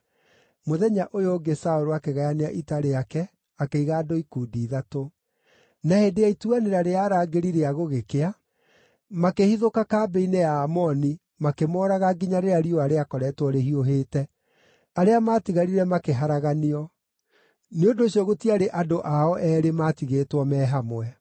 Mũthenya ũyũ ũngĩ Saũlũ akĩgayania ita rĩake akĩiga andũ ikundi ithatũ; na hĩndĩ ya ituanĩra rĩa arangĩri rĩa gũgĩkĩa makĩhithũka kambĩ-inĩ ya Aamoni makĩmooraga nginya rĩrĩa riũa rĩakoretwo rĩhiũhĩte. Arĩa maatigarire makĩharaganio. Nĩ ũndũ ũcio gũtiarĩ andũ ao eerĩ maatigĩtwo me hamwe.